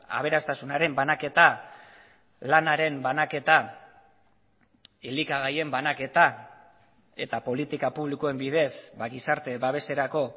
aberastasunaren banaketa lanaren banaketa elikagaien banaketa eta politika publikoen bidez gizarte babeserako